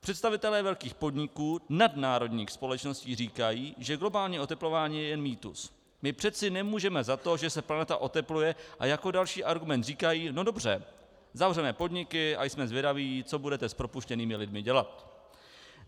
Představitelé velkých podniků, nadnárodních společností říkají, že globální oteplování je jen mýtus, my přeci nemůžeme za to, že se planeta otepluje, a jako další argument říkají no dobře, zavřeme podniky a jsme zvědaví, co budete s propuštěnými lidmi dělat.